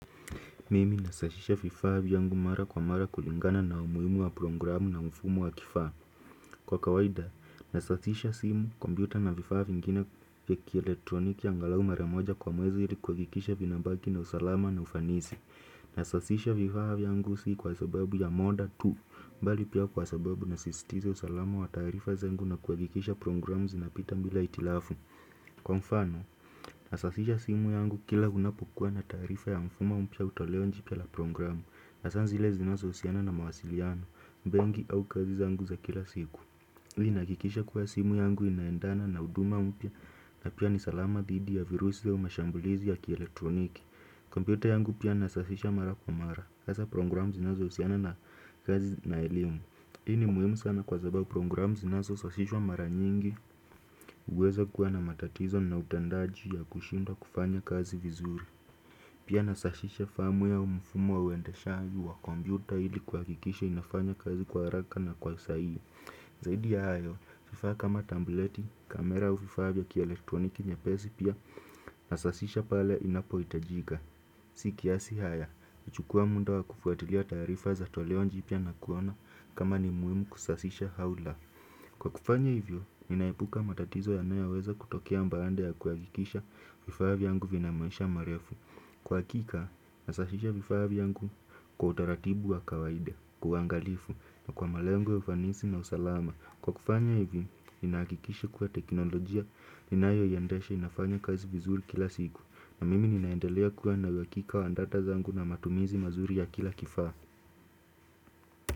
Mimi nasashisha vifaa vyangu mara kwa mara kulingana na umuhimu wa programu na mfumo wa kifaa. Kwa kawaida, nasashisha simu, kompyuta na vifaa vingine vya kieletroniki angalau mara moja kwa mwezi ilikuhakikisha vinabaki na usalama na ufanisi. Nasashisha vifaa vyangu si kwa sababu ya moda tu, bali pia kwa sababu nasisitiza usalama wa tarifa zangu na kuhakikisha programu zinapita bila hitilafu. Kwa mfano, nasasisha simu yangu kila unapokuwa na taarifa ya mfumo mpya au toleo jipya la programu Hasa zile zinazohusiana na mawasiliano, benki au kazi zangu za kila siku Hii inahakikisha kuwa simu yangu inaendana na huduma mpya na pia nisalama dhidi ya virusi au mashambulizi ya kieletroniki kompyuta yangu pia nasasisha mara kwa mara, hasa programu zinazohusiana na kazi na elimu Hii ni muhimu sana kwa sababu programu zinazosashishwa mara nyingi huweza kuwa na matatizo na utandaji ya kushindwa kufanya kazi vizuri. Pia nasashisha firmware au mfumo wa uendeshaji wa kompyuta ili kuhakikisha inafanya kazi kwa haraka na kwa usahihi. Zaidi ya hayo, vifaa kama tableti, kamera au vifaa vya kielektroniki nyepesi pia nasashisha pale inapohitajika. Si kiasi haya, huchukua muda wa kufuatilia taarifa za toleo jipya na kuona kama ni muhimu kusasisha au la Kwa kufanya hivyo, ninaepuka matatizo yanayoweza kutokea baada ya kuhakikisha vifaa vyangu vina maisha marefu Kwa hakika, nasashisha vifaa vyangu kwa utaratibu wa kawaida, kwa uangalifu, na kwa malengo ya ufanisi na usalama Kwa kufanya hivi, ninahakikisha kuwa teknolojia, ninayoiendesha inafanya kazi vizuri kila siku na mimi ninaendelea kuwa na uhakika wa data zangu na matumizi mazuri ya kila kifaa.